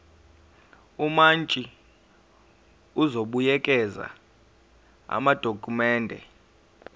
umantshi uzobuyekeza amadokhumende